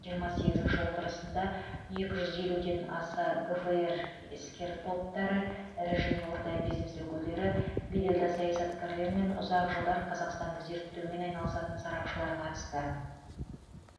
жиырма сегізінші отырысына екі жүз елуден аса гфр іскер топтары ірі және орта бизнес өкілдері беделді саясаткерлер мен ұзақ жылдар қазақстанды зерттеумен айналысатын сарапшылар қатысты